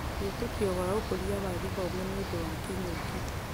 Wĩtĩkio wa ũkũria wa gĩthomo nĩũndũ wa kĩng'ũki